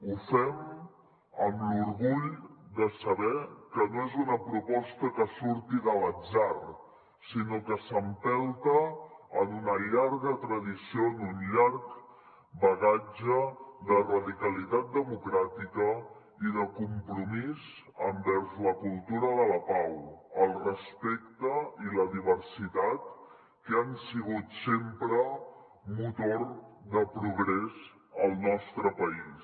ho fem amb l’orgull de saber que no és una proposta que surti de l’atzar sinó que s’empelta en una llarga tradició en un llarg bagatge de radicalitat democràtica i de compromís envers la cultura de la pau el respecte i la diversitat que han sigut sempre motor de progrés al nostre país